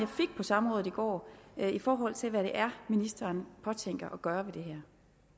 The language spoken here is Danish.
fik på samrådet i går i forhold til hvad det er ministeren påtænker at gøre ved det